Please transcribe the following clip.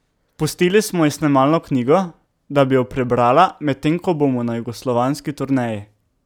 Pustili smo ji snemalno knjigo, da bi jo prebrala, medtem ko bomo na jugoslovanski turneji.